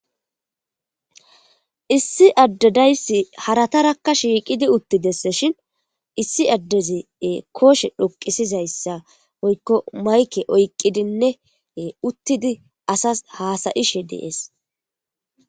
Issi addedayssi haratarakka shiiqidi uttidesse shin issi addezee kooshe dhoqisizayssa woykko mayke oyqqidinnee uttidi asas haasayishe dees.